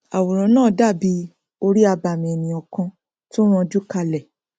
àwòrán náà dàbí orí abàmì ènìà kan tí ó ranjú kalẹ